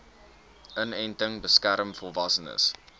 inenting beskerm volwassenes